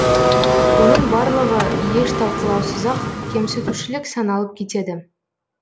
оның барлығы еш талқылаусыз ақ кемсітушілік саналып кетеді